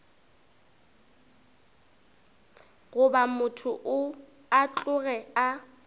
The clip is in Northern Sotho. goba motho a tloge a